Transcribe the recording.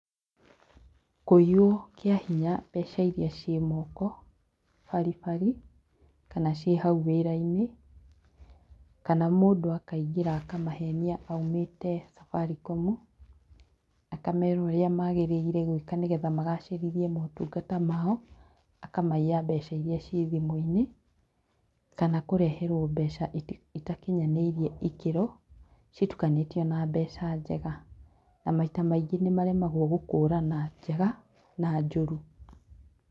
Kũiywo kĩa hinya mbeca iria ciĩ moko baribari kana ciĩ hau wĩrainĩ, kana mũndũ akaingĩra akamahenia aumĩte Safaricom akamera ũria magĩrĩire gwĩka nĩgetha magacĩrithie motungata mao akamaiya mbeca iria cie thimũinĩ, kana kũreherwo mbeca itakinyanĩirie ikĩro citukanĩtio na mbeca njega na maita maingĩ nĩmaremagwo gũkũrana njega na njũru.